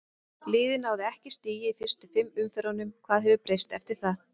Liðið náði ekki í stig í fyrstu fimm umferðunum, hvað hefur breyst eftir það?